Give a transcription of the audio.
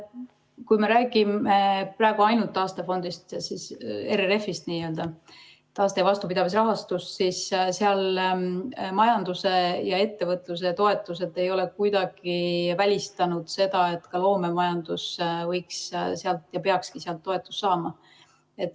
Kui me räägime praegu ainult taastefondist, n‑ö RRF‑ist, taaste‑ ja vastupidavusrahastust, siis majanduse ja ettevõtluse toetused ei ole kuidagi välistanud seda, et ka loomemajandus võiks sealt toetust saada ja peaks saama.